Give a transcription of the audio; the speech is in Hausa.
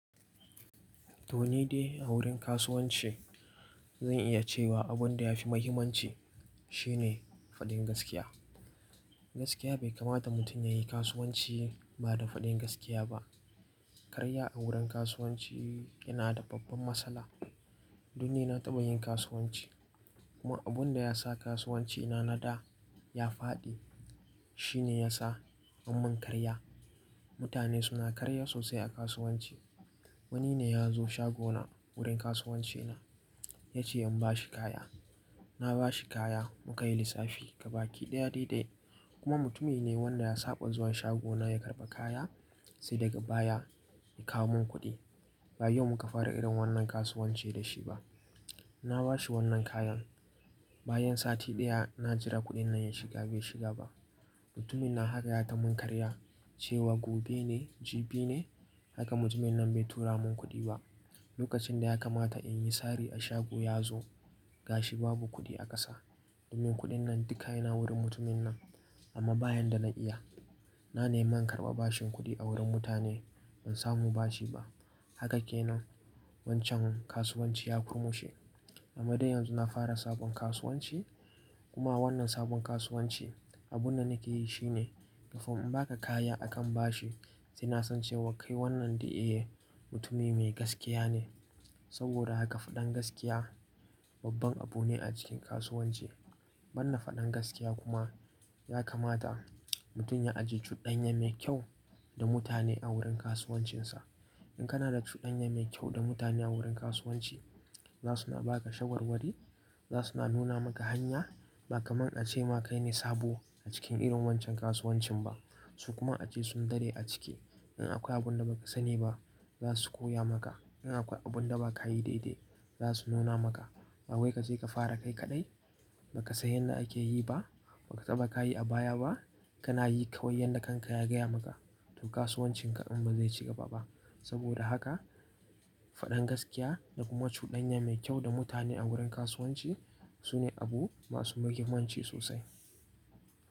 To ni dai a wurin kasuwanci zan iya cewa abin da ya fi muhimmanci shi ne faɗin gaskiya. Gaskiya bai kamata mutum ya yi kasuwanci ba da faɗin gaskiya ba. Karya a wurin kasuwanci yana da babban matsala. Don ni na taɓa yin kasuwanci kuma abin da ya sa kasuwancina na da ya faɗi shine yasa an yi min karya. Mutane suna karya sosai a kasuwanci. Wani ne ya zo shagona wurin kasuwancina ya ce in bashi kaya. Na bashi kaya muka yi lissafi gaba ki ɗaya dai dai kuma mutumin ne wanda ya saɓa zuwa shagona ya karɓa kaya sai daga baya ya kawo mun kuɗi. Ba yau muka fara irin wannan kasuwanci da shi ba. Na ba shi wannan kayan bayan sati ɗaya na jira kuɗin nan ya shiga bai shiga ba. Mutumin nan haƙa ya ta mun karya cewa gobe ne, jibi ne haka mutumin nan bai tura min kuɗi ba. Lokacin da ya kamata in yi sari a shago ya zo gashi babu kuɗi a ƙasa. Domin kuɗin nan duka yana wurin mutumin nan amma ba yan da na iya na nema in karɓa bashin kuɗi a wurin mutane ban samu bashi ba. Haka kenan wancan kasuwanci ya kurmushe. Amma dai yanzu na fara sabon kasuwanci kuma wannan sabon kasuwanci abin da nake yi shine kafin in baka kaya akan bashi sai na san cewa kai wannan dai eh mutumi mai gaskiya ne. Saboda haka faɗan gaskiya babban abu ne a cikin kasuwanci. Ba na faɗan gaskiya kuma ya kamata mutum ya ajiye cuɗanya me kyau da mutane a wurin kasuwancinsa. In kana da cuɗanya mai kyau da mutane a wurin kasuwanci za suna ba ka shawarwari, za suna nuna maka hanya. Ba kamar a ce ma kai ne sabo a cikin irin wancan kasuwancin ba su kuma a ce sun dade a ciki. In akwai abin da baka sani ba za su koya maka. In akwai abin da bakayi daidai za su nuna maka. Da wai ka je ka fara kai kaɗai ba ka san yanda ake yi ba, baka taba ka yi a baya ba kana yi kawai yadda kan ka ya gaya maka. To kasuwancinka din bazai ci gaba ba. Saboda haka faɗan gaskiya da kuma cuɗanya me kyau da mutane a wurin kasuwanci sune abu masu muhimmanci sosai.